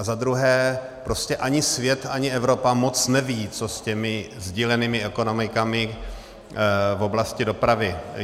A za druhé, prostě ani svět, ani Evropa moc nevědí, co s těmi sdílenými ekonomikami v oblasti dopravy.